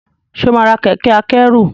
ṣe ọ má rà Kẹ̀kẹ́ akẹ́rù?